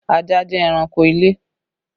Ajá jẹ́ ẹranko ilé